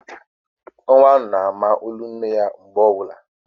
Nwa na ama olu nne ya mgbe ọbụla